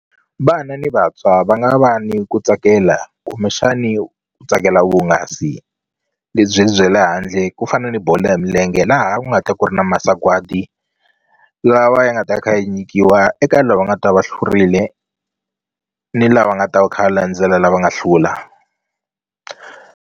Vana ni vantshwa va nga va ni ku tsakela kumbexani ku tsakela vuhungasi lebyi bya le handle ku fana ni bolo ya milenge laha ku nga ta ku ri na masagwadi lawa ya nga ta kha yi nyikiwa eka lava nga ta va hlurile ni lava nga ta va kha va landzela lava nga hlula.